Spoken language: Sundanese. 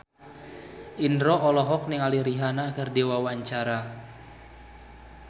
Indro olohok ningali Rihanna keur diwawancara